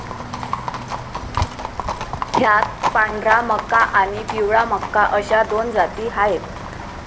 ह्यात पांढरा मका आणि पिवळा मका अशा दोन जाती आहेत.